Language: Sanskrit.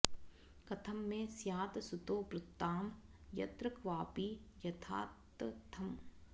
कथं मे स्यात् सुतो ब्रूतां यत्र क्वापि यथातथम्